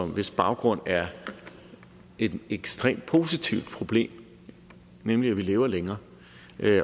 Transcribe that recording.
hvis baggrund er et ekstremt positivt problem nemlig at vi lever længere